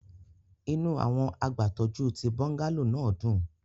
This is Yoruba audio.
Inu awọn agbatọju ti bungalow naa dun